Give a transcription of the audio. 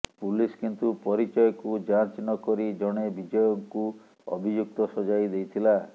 police କିନ୍ତୁ ପରିଚୟକୁ ଯାଂଚ ନକରି ଜଣେ ବିଜୟଙ୍କୁ ଅଭିଯୁକ୍ତ ସଜାଇ ଦେଇଥିଲା